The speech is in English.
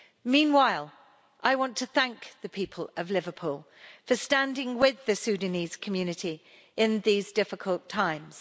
Meanwhile, I want to thank the people of Liverpool for standing with the Sudanese community in these difficult times.